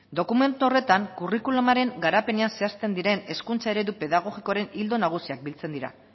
dokumentu horretan curriculumaren garapenean zehazten diren hezkuntza eredu pedagogikoren ildo nagusiak biltzen dira